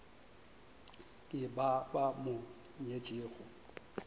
ke ba ba mo nyetšego